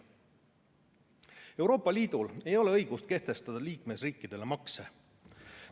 Euroopa Liidul ei ole õigust kehtestada liikmesriikidele makse.